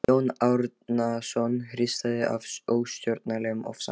Jón Árnason hristist af óstjórnlegum ofsa.